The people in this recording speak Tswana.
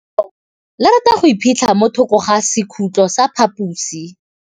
Legôtlô le rata go iphitlha mo thokô ga sekhutlo sa phaposi.